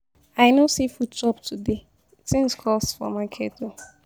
I no see food chop today. Things cost for market o.